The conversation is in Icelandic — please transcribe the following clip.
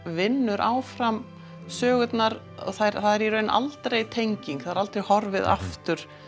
vinnur áfram sögurnar og það er í raun aldrei tenging það er aldrei horfið aftur